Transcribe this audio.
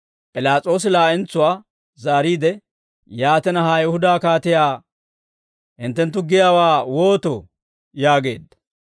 P'ilaas'oosi laa'entsuwaa zaariide, «Yaatina, ha Ayihuda kaatiyaa hinttenttu giyaawaa wootoo?» yaageedda.